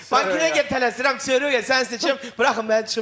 Banketə gəldi, tələsirəm, Röya səni seçirəm, buraxın məni çıxım gedim.